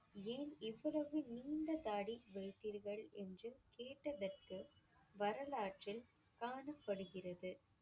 ஏன் இவ்வளவு நீண்ட தாடி வைத்தீர்கள் என்று கேட்டதற்கு வரலாற்றில் காணப்படுகிறது.